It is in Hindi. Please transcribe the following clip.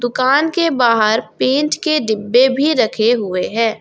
के बाहर पेंट के डिब्बे भी रखे हुए हैं।